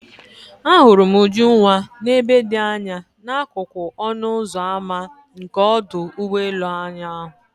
Ahụrụ m Ujunwa n'ebe dị anya n'akụkụ ọnụ ụzọ ámá nke ọdụ ụgbọ elu ụnyahụ.